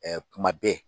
kuma bɛɛ